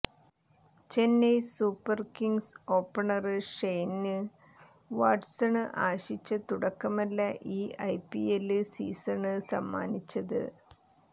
Chennai Super Kings opener Shane Watson ആശിച്ച തുടക്കമല്ല ഈ ഐപിഎല് സീസണ് സമ്മാനിച്ചത്